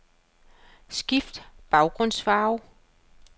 Skift baggrundsfarve.